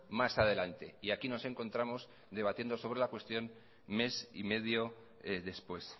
más adelante y aquí nos encontramos debatiendo sobre la cuestión mes y medio después